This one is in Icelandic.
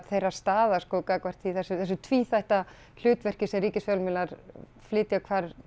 þeirra staða gagnvart þessu tvíþætta hlutverki sem ríkisfjölmiðlar flytja